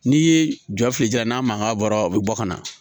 N'i ye jɔ fili ja n'a mankan bɔra o bɛ bɔ ka na